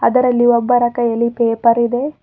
ಅದರಲ್ಲಿ ಒಬ್ಬರ ಕೈಯಲ್ಲಿ ಪೇಪರ್ ಇದೆ.